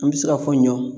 An bɛ se ka fɔ ɲɔ